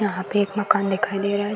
यहाँ पे एक मकान दिखाई दे रहा है।